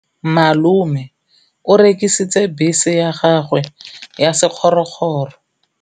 Malome o rekisitse bese ya gagwe ya sekgorokgoro.